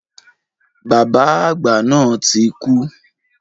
Bàbá àgbà náà ti kú.